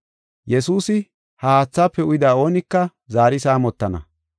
Yesuusi, “Ha haathaafe uyida oonika zaari saamotana.